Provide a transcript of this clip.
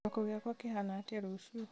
kĩroko gĩakwa kĩhana atĩa rũciũ